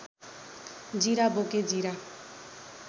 जीरा बोके जीरा